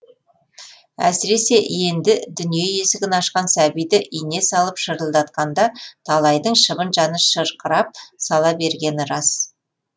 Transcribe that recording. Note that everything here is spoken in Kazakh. әсіресе енді дүние есігін ашқан сәбиді ине салып шырылдатқанда талайдың шыбын жаны шырқырап сала бергені рас